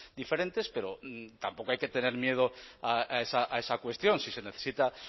diferentes pero tampoco hay que tener miedo a esa cuestión si se necesita